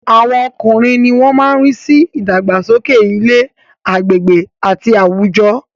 Àwọn ọkùnrin ni wọ́n má ń rí sí ìdàgbàsókè ilé, agbègbè àti àwùjọ